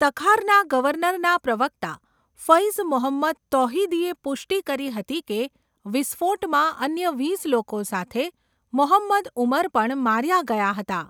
તખારના ગવર્નરના પ્રવક્તા ફૈઝ મોહંમદ તૌહિદીએ પુષ્ટિ કરી હતી કે વિસ્ફોટમાં અન્ય વીસ લોકો સાથે મોહંમદ ઉમર પણ માર્યા ગયા હતા.